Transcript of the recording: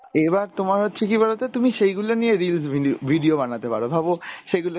এবার তোমার হচ্ছে কি বলতো তুমি সেইগুলো নিয়ে reels video video বানাতে পারো ভাবো সেইগুলো।